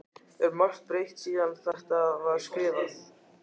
Er margt breytt síðan að þetta var skrifað?